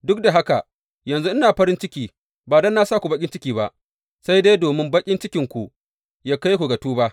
Duk da haka, yanzu ina farin ciki, ba don na sa ku baƙin ciki ba, sai dai domin baƙin cikinku ya kai ku ga tuba.